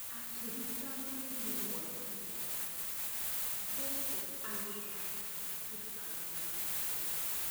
Akĩruta rũrĩmĩ rwake nja gũkũ agĩthakaga kĩharo-inĩ kĩnene.